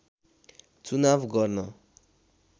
चुनाव गर्न